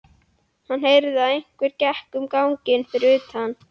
Hann heyrði að einhver gekk um ganginn fyrir utan.